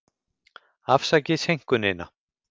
Afsakið seinkunina.